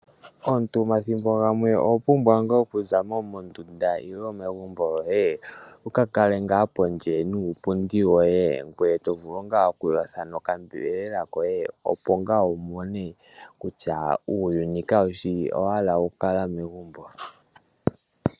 Omuntu omathimbo gamwe oho pumbwa ngaa oku zamo mondunda nenge megumbo lyoye, wu ka kale ngaa pondje niipundi yoye, ngoye to vulu ngaa oku yotha nonyama yoye opo wu mone kutya uuyuni kawu shi owala oku kala megumbo.